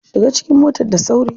Shiga cikin motar da sauri.